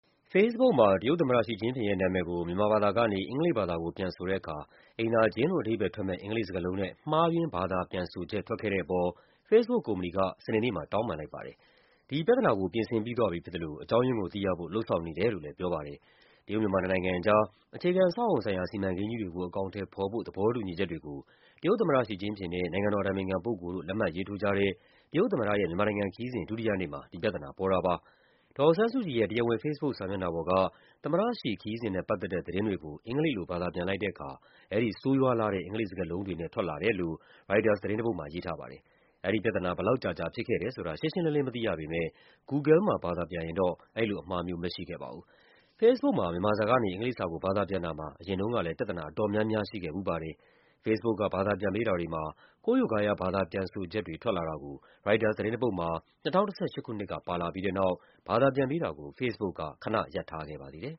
Facebook မှာ တရုတ်သမ္မတ Xi Jinping ရဲ့နာမည်ကို မြန်မာဘာသာကနေ အင်္ဂလိပ်ဘာသာကို ပြန်ဆိုတဲ့အခါ အိမ်သာကျင်းလို့ အဓိပ္ပာယ်ထွက်မယ့် အင်္ဂလိပ်စကားလုံးနဲ့ မှားယွင်း ဘာသာပြန်ဆိုချက် ထွက်ခဲ့တဲ့အပေါ် Facebook ကုမ္ပဏီက စနေနေ့မှာ တောင်းပန်လိုက်ပါတယ်။ ဒီပြဿနာကို ပြင်ဆင်ပြီးသွားပြီဖြစ်သလို အကြောင်းရင်းကိုသိရဖို့ လုပ်ဆောင်နေတယ်လို့လည်း ပြောပါတယ်။ တရုတ်-မြန်မာ နှစ်နိုင်ငံအကြား အခြေခံအဆောက်အအုံဆိုင်ရာ စီမံကိန်းကြီးတွေကို အကောင်အထည်ဖော်ဖို့ သဘောတူညီချက်တွေကို တရုတ်သမ္မတ Xi Jinping နဲ့ နိုင်ငံတော်အတိုင်ပင်ခံပုဂ္ဂိုလ်တို့ လက်မှတ်ရေးထိုးကြတဲ့ တရုတ်သမ္မတရဲ့ မြန်မာနိုင်ငံခရီးစဉ် ဒုတိယနေ့မှာ ဒီပြဿနာ ပေါ်ခဲ့တာပါ။ ဒေါ်အောင်ဆန်းစုကြည်ရဲ့ တရားဝင် Facebook စာမျက်နှာပေါ်က သမ္မတ Xi ခရီးစဉ်နဲ့ ပတ်သက်တဲ့ သတင်းတွေကို အင်္ဂလိပ်လို ဘာသာပြန်လိုက်တဲ့အခါ အဲဒီ ဆိုးရွားလှတဲ့ အင်္ဂလိပ်စကားလုံးတွေနဲ့ ထွက်လာတယ်လို့ ရိုက်တာသတင်းတပုဒ်မှာ ရေးထားပါတယ်။ အဲဒီပြဿနာ ဘယ်လောက်ကြာကြာ ဖြစ်ခဲ့တယ်ဆိုတာ ရှင်းရှင်းလင်းလင်း မသိရပေမယ့် Google မှာ ဘာသာပြန်ရင်တော့ အဲဒီလိုအမှားမျိုး မရှိခဲ့ပါဘူး။ Facebook မှာ မြန်မာစာကနေ အင်္ဂလိပ်စာကို ဘာသာပြန်တာမှာ အရင်တုန်းကလည်း ပြဿနာအတော်များများ ရှိခဲ့ဖူးပါတယ်။ Facebook က ဘာသာပြန်ပေးတာတွေမှာ ကိုးရိုးကားရား ဘာသာပြန်ဆိုချက်တွေ ထွက်လာတာကို ရိုက်တာသတင်းတပုဒ်မှာ ၂၀၁၈ ခုနှစ်က ပါလာပြီးတဲ့နောက် ဘာသာပြန်ပေးတာကို Facebook က ခနရပ်ထားခဲ့ပါသေးတယ်